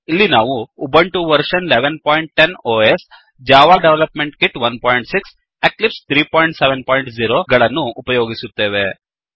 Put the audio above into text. ಇಲ್ಲಿ ನಾವು Ubuntu version 1110 OS Ubuntu operating system ನ ಆವೃತ್ತಿ ೧೧೧೦ Java development kit 16 Java development kit ೧೬ ಹಾಗೂ ಎಕ್ಲಿಪ್ಸ್ 370 ಮತ್ತು ಎಕ್ಲಿಪ್ಸ್ ೩೭೦ ಗಳನ್ನು ಉಪಯೋಗಿಸುತ್ತೇವೆ